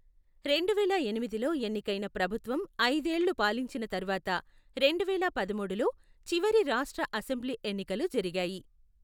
రెండువేల ఎనిమిదిలో ఎన్నికైన ప్రభుత్వం ఐదేళ్లు పాలించిన తర్వాత రెండువేల పదమూడులో చివరి రాష్ట్ర అసెంబ్లీ ఎన్నికలు జరిగాయి.